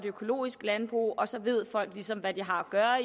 et økologisk landbrug og så ved folk ligesom hvad de har at gøre